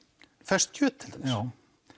ferskt kjöt til dæmis já